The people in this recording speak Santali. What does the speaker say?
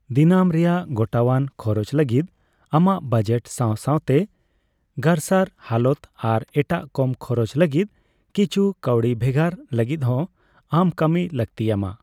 ᱫᱤᱱᱟᱹᱢ ᱨᱮᱭᱟᱜ ᱜᱚᱴᱟᱣᱟᱱ ᱠᱷᱚᱨᱚᱪ ᱞᱟᱹᱜᱤᱫ ᱟᱢᱟᱜ ᱵᱟᱡᱮᱴ ᱥᱟᱣ ᱥᱟᱣᱛᱮ, ᱜᱟᱨᱥᱟᱨ ᱦᱟᱞᱚᱛ ᱟᱨ ᱮᱴᱟᱜ ᱠᱚᱢ ᱠᱷᱚᱨᱚᱪ ᱞᱟᱹᱜᱤᱫ ᱠᱤᱪᱷᱩ ᱠᱟᱹᱣᱰᱤ ᱵᱷᱮᱜᱟᱨ ᱞᱟᱹᱜᱤᱫᱦᱚᱸ ᱟᱢ ᱠᱟᱹᱢᱤ ᱞᱟᱹᱠᱛᱤᱟᱭᱟᱢᱟ ᱾